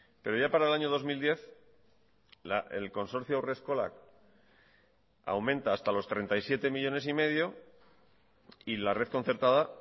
pero ya para el año dos mil diez el consorcio haurreskolak aumenta hasta los treinta y siete millónes y medio y la red concertada